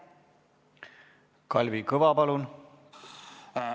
Kalvi Kõva, palun!